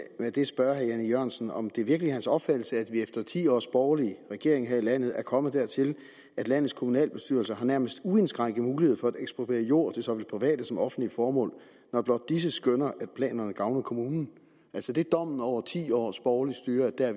af det spørge herre jan e jørgensen om det virkelig er hans opfattelse at vi efter ti års borgerlig regering her i landet er kommet dertil at landets kommunalbestyrelser har nærmest uindskrænket mulighed for at ekspropriere jord til såvel private som offentlige formål når blot disse skønner at planerne gavner kommunen altså dommen over ti års borgerligt styre er